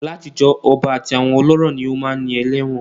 Látijọ́, ọba àti àwọn ọlọ́rọ̀ ni ó máá ń ní ẹlẹ́wọ̀n